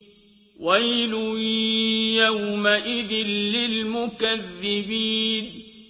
وَيْلٌ يَوْمَئِذٍ لِّلْمُكَذِّبِينَ